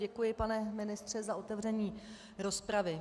Děkuji, pane ministře, za otevření rozpravy.